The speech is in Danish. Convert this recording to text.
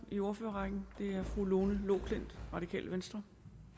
i ordførerrækken er fru lone loklindt radikale venstre